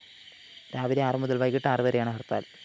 രാവിലെ ആറ് മുതല്‍ വൈകിട്ട് ആറ് വരെയാണ് ഹര്‍ത്താല്‍